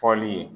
Fɔli ye